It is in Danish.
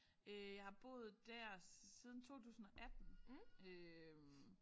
Øh jeg har boet der siden 2018 øh